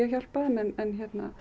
hjálpað þeim en